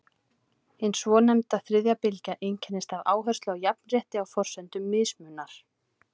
Hin svonefnda þriðja bylgja einkennist af áherslu á jafnrétti á forsendum mismunar.